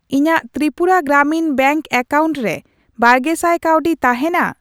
ᱤᱧᱟᱜ Tripura Gramin bank account ᱨᱮ ᱵᱟᱨᱜᱮᱥᱟᱭ ᱠᱟᱹᱣᱰᱤ ᱛᱟᱦᱮᱱᱟ ?